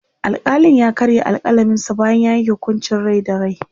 alkalin ya karya alkalaminsa bayan ya Yanke hukuncin Rai da rai